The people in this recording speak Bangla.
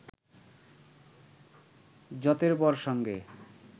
যতেড়বর সঙ্গে